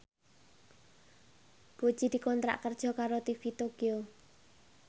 Puji dikontrak kerja karo TV Tokyo